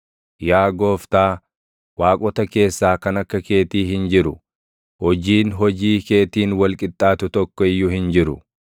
Yaa Gooftaa, waaqota keessaa kan akka keetii hin jiru; hojiin hojii keetiin wal qixxaatu tokko iyyuu hin jiru.